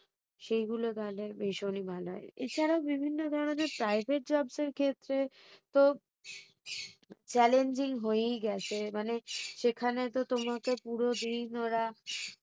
সেগুলো তাহলে ভীষণই ভালো হয় এছাড়াও বিভিন্ন ধরণের private jobs এর ক্ষেত্রে challenging হয়েই গেছে মানে সেখানে তো তোমাকে পুরা দিন ওরা